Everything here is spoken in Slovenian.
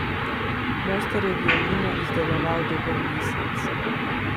Mojster je violino izdeloval dober mesec.